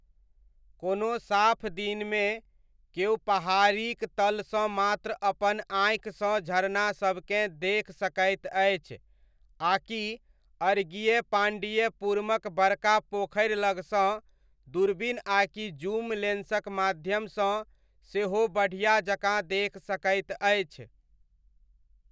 कोनो साफ दिनमे, केओ पहाड़ीक तलसँ मात्र अपन आँखिसँ झरनासबकेँ देखि सकैत अछि आकि अड़गियपाण्डियपुरमक बड़का पोखरि लगसँ दूरबीन आकि जूम लेंसक माध्यमसँ सेहो बढ़िया जकाँ देखि सकैत अछि।